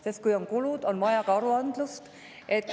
Sest kui on kulud, on vaja ka aruandlust.